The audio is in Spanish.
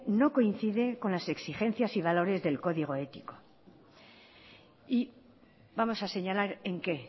no coincide con las exigencias y valores del código ético y vamos a señalar en qué